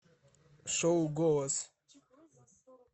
шоу голос